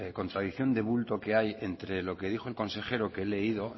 contradicción de bulto que hay entre lo que dijo el consejero que he leído